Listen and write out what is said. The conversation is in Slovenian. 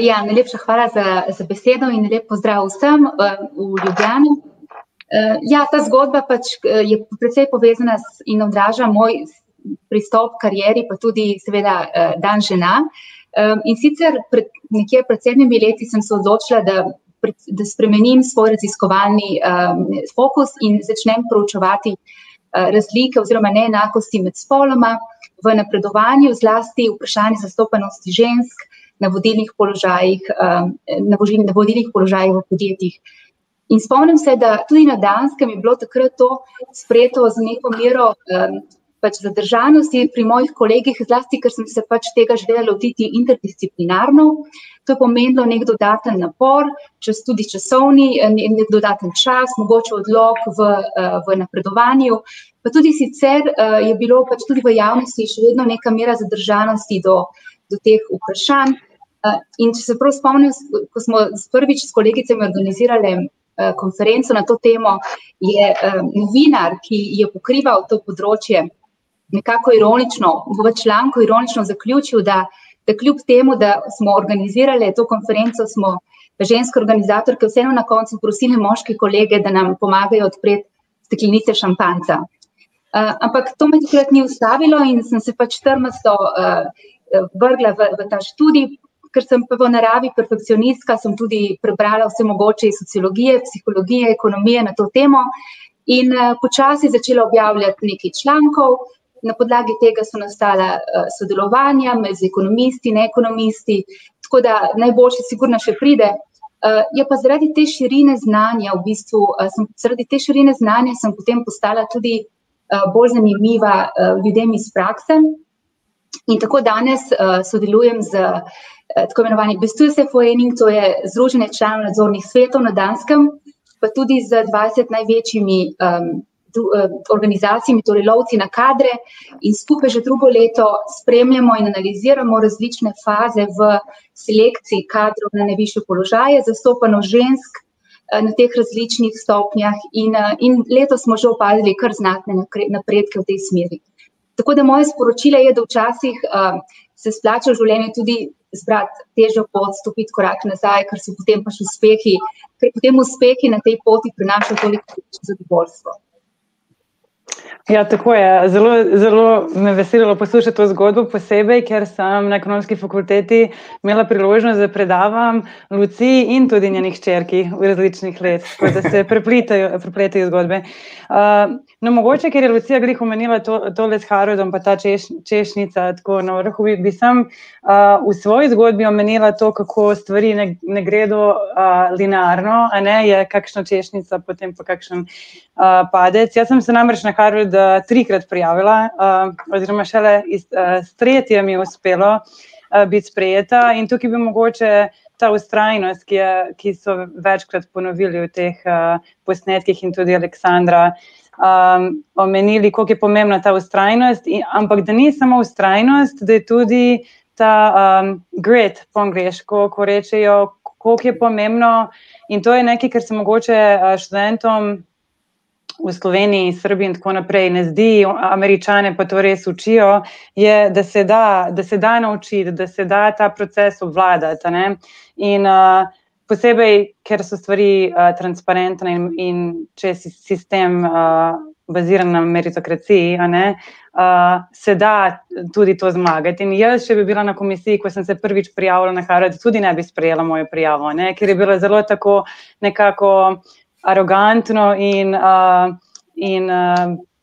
ja, najlepša hvala za, za besedo in lep pozdrav vsem, v Ljubljani. ja, ta zgodba pač, je precej povezana z ... In odraža moj pristop h karieri, pa tudi, seveda, dan žena. in sicer nekje pred sedmimi leti sem se odločila, da da spremenim svoj raziskovalni, fokus in začnem preučevati, razlike oziroma neenakosti med spoloma. V napredovanju je zlasti vprašanje zastopanosti žensk na vodilnih položajih, na na vodilnih položajih v podjetjih. In spomnim se, da tudi na Danskem je bilo takrat to sprejeto z neko mero, pač zadržanosti pri mojih kolegih, zlasti ker sem se pač tega želela lotiti interdisciplinarno. To je pomenilo neki dodaten napor, tudi časovni, dodaten čas, mogoče odlog v v napredovanju, pa tudi sicer, je bilo pač tudi v javnosti še vedno neka mora zadržanosti do, do teh vprašanj. in če se prav spomnim, ko smo prvič s kolegicama organizirale, konferenco na to temo, je, novinar, ki je pokrival to področje, nekako ironično, v članku ironično zaključil, da da kljub temu, da smo organizirale to konferenco, smo ženske organizatorke vseeno na koncu prosile moške kolege, da nam pomagajo odpreti steklenice šampanjca. ampak to me takrat ni ustavilo in sem se pač trmasto, vrgla v, v ta študij, ker sem pa po naravi perfekcionistka, sem tudi prebrala vse mogoče iz sociologije, psihologije, ekonomije na to temo in, počasi začela objavljati nekaj člankov, na podlagi tega so nastala, sodelovanja med, z ekonomisti, neekonomisti, tako da najboljše sigurno še pride. je pa zaradi te širine znanja v bistvu, sem zaradi te širine znanja sem potem postala tudi, bolj zanimiva, ljudem iz prakse. In tako danes, sodelujem s, tako imenovanimi , to je združenje članov nadzornih svetov na Danskem pa tudi z dvajset največjimi, organizacijami, torej lovci na kadre, in skupaj že drugo leto spremljamo in analiziramo različne faze v selekciji kadrovne najvišje položaje, zastopanost žensk, na teh različnih stopnjah in, in letos smo že opazili kar znatne napredke v tej smeri. Tako da moje sporočilo je, da včasih, se splača v življenju tudi izbrati težjo pot, stopiti korak nazaj, ker so s tem pač uspehi, ker potem uspehi na tej poti prinašajo tolikšno zadovoljstvo. Ja, tako je, zelo, zelo me je veselilo poslušati to zgodbo, posebej ker sem na Ekonomski fakulteti imela priložnost, da predavam Luciji in tudi njeni hčerki, različnih let. Tako da se preplitajo, prepletajo zgodbe. no, mogoče, ker je Lucija glih omenila to, tole s Harvardom, pa ta češnjica, tako na vrhu, in bi samo, v svoji zgodbi omenila to, kako stvari ne, ne gredo, linearno, a ne, je kakšna češnjica potem po kakšnem, padec. Jaz sem si namreč na Harvard, trikrat prijavila, oziroma šele iz, v tretje mi je uspelo, biti sprejeta. In tukaj bi mogoče, ta vztrajnost, ki je, ki so večkrat ponovili, v teh, posnetkih, in tudi Aleksandra, omenili, koliko je pomembna ta vztrajnost in, ampak da ni samo vztrajnost, da je tudi ta, grit, po angleško, ko rečejo, koliko je pomembno, in tudi nekaj, kar se mogoče, študentom v Sloveniji, Srbiji in tako naprej ne zdi, Američane pa to res učijo, je, da se da, da se da naučiti, da se da ta proces obvladati, a ne. In, posebej ker so stvari, transparentne in če je sistem, baziran na meritokraciji, a ne. se da tudi to zmagati. In jaz, če bi bila na komisiji, ko sem se prvič prijavila na Harvard tudi, ne bi sprejela mojo prijavo, a ne. Ker je bilo zelo tako nekako arogantno, in, in,